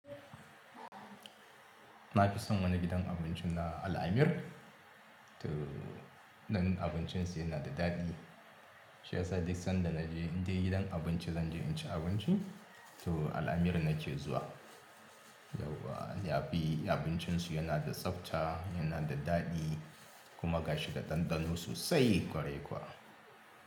Na fi son wani gidan abinci na Al-amir. To, ɗan abincin su yana da daɗi. Shiyasa duk sanda naje, inde gidan abin zanje in shi abinci to al'ameer nake zuwa yauwa, ya fi abincin su yana da tsafta, yana da daɗi kuma gashi da ɗanɗano sosai ƙwarai kuwa.